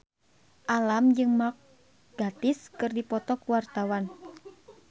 Alam jeung Mark Gatiss keur dipoto ku wartawan